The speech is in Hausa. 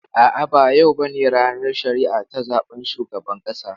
A'a, ba yau bane ranar shari'a ta zaben shugaban ƙasa.